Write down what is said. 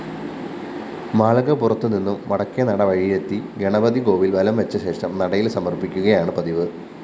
മാളികപ്പുറത്തുനിന്നും വടക്കേനട വഴിയെത്തി ഗണപതികോവില്‍ വലംവച്ചശേഷം നടയില്‍ സമര്‍പ്പിക്കുകയാണ് പതിവ്